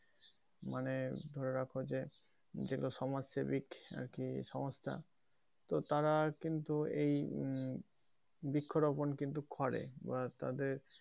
মানে ধরে রাখো যে যেগুলো সমাজ সেবিক আরকি সংস্থা তো তারা কিন্তু উম এই বৃক্ষ রোপণ কিন্তু করে বা তাদের,